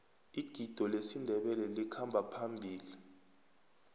igido lesindebele likhamba phambili